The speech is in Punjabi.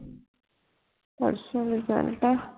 ਪਰਸੋ result ਆ